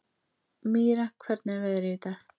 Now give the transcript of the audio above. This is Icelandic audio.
Mýra, hvernig er veðrið í dag?